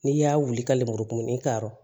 N'i y'a wuli ka lemurukumuni ta yɔrɔ